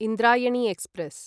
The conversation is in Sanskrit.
इन्द्रायणी एक्स्प्रेस्